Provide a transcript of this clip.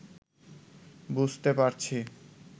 বুঝতে পারছি